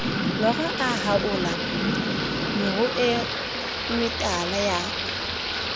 lora a haola meruemetala ya